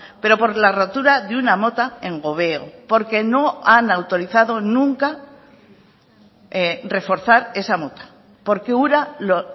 pero por la rotura de una mota en gobeo porque no han autorizado nunca reforzar esa mota porque ura lo